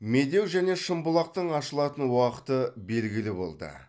медеу және шымбұлақтың ашылатын уақыты белгілі болды